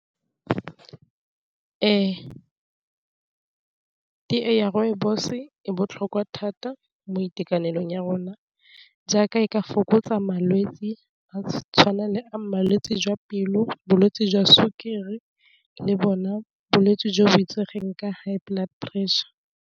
Ee, teye ya rooibos-e e botlhokwa thata mo itekanelong ya rona jaaka e ka fokotsa malwetsi a tshwana le a malwetse jwa pelo, bolwetsi jwa sukiri, le bona bolwetse jo bo itsegeng ke high blood pressure.